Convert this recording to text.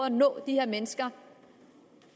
at nå de her mennesker